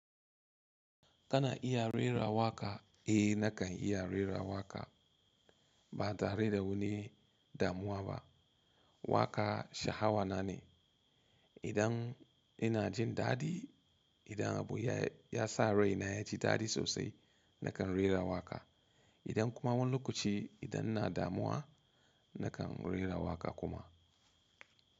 Kana iya rera waƙa? Eh nakan iya rera waƙa ba tare da wani damuwa ba. Waƙa sha'awa na ne. Idan ina jin dadi, idan abu ya sa rai na ya ji dadi sosai nakan rera waƙa. Idan kuma wani lokaci idan ina damuwa nakan rera waƙa kuma.